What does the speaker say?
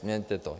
Změňte to.